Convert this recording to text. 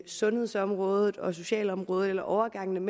sundhedsområdet og socialområdet eller overgangen